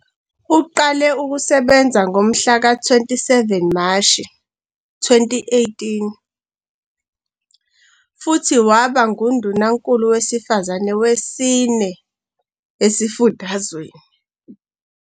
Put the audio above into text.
Uqale ukusebenza ngomhlaka 27 Mashi 2018 futhi waba nguNdunankulu wesifazane wesine esifundazweni.